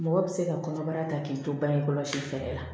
Mɔgɔ bɛ se ka kɔnɔbara ta k'i to bange kɔlɔsi fɛɛrɛ la